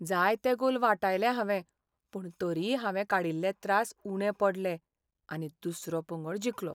जायते गोल वाटायले हांवें पूण तरीय हांवें काडील्ले त्रास उणे पडले आनी दुसरो पंगड जिखलो.